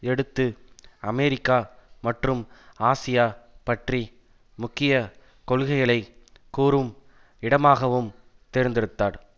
எடுத்து அமெரிக்கா மற்றும் ஆசியா பற்றி முக்கிய கொள்கைகளை கூறும் இடமாகவும் தேர்ந்தெடுத்தார்